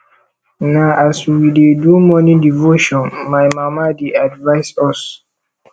na as we dey do morning devotion my mama dey advise us